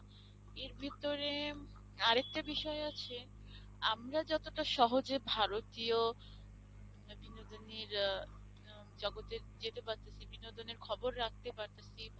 এর ভিতরে আর একটা বিষয় আছে আমরা যতটা সহজে ভারতীয় বিনোদনের আহ জগতে যেতে পারতাছি ভারতীয় বিনোদনের খবর রাখতে পারতাছি